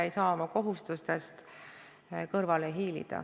Ei saa oma kohustustest kõrvale hiilida.